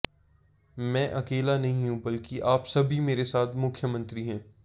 मैं अकेला नहीं हूं बल्कि आप सभी मेरे साथ मुख्यमंत्री हैं